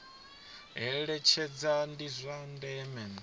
eletshedza ndi zwa ndeme kha